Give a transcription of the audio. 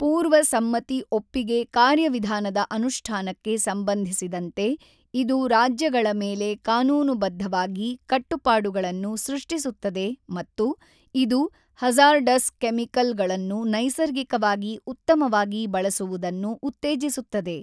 ಪೂರ್ವ ಸಮ್ಮತಿ ಒಪ್ಪಿಗೆ ಕಾರ್ಯವಿಧಾನದ ಅನುಷ್ಠಾನಕ್ಕೆ ಸಂಬಂಧಿಸಿದಂತೆ ಇದು ರಾಜ್ಯಗಳ ಮೇಲೆ ಕಾನೂನುಬದ್ಧವಾಗಿ ಕಟ್ಟುಪಾಡುಗಳನ್ನು ಸೃಷ್ಟಿಸುತ್ತದೆ ಮತ್ತು ಇದು ಹಜಾರ್ಡಸ್ ಕೆಮಿಕಲ್ ಗಳನ್ನು ನೈಸರ್ಗಿಕವಾಗಿ ಉತ್ತಮವಾಗಿ ಬಳಸುವುದನ್ನು ಉತ್ತೇಜಿಸುತ್ತದೆ.